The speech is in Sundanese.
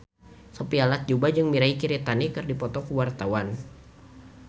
Sophia Latjuba jeung Mirei Kiritani keur dipoto ku wartawan